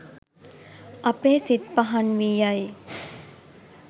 අපේ සිත් පහන් වී යයි.